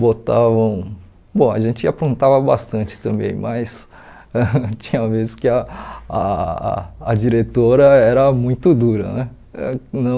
Botavam bom, a gente aprontava bastante também, mas tinha vezes que ah ah a diretora era muito dura né. Eh não